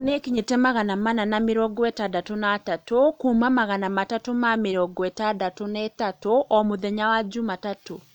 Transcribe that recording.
rĩu nĩikinyĩte magana mana na mĩrongo ĩtandatũ na atatũ kuuma magana matatũ na mĩrongo ĩtandatũ na ĩtandatũ o mũthenya wa Jumatatu.